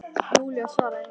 Júlía svarar engu.